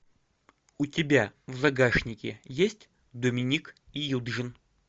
у тебя в загашнике есть доминик и юджин